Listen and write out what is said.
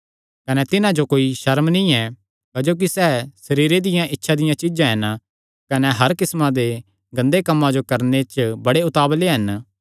कने तिन्हां जो कोई सर्म नीं ऐ क्जोकि सैह़ सरीरे दियां इच्छां च जीआ दे हन कने हर किस्मा दे गंदे कम्मां करणे जो बड़े उतावल़े हन